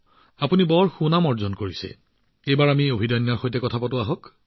আপুনি নিজৰ ডাঙৰ নাম বনাইছে আহক আমি অভিদন্যৰ লগত কথা পাতোঁ